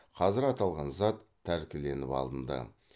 қазір аталған зат тәркіленіп алынды